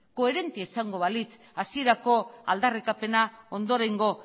koherentea izango balitz hasierako aldarrikapena ondorengo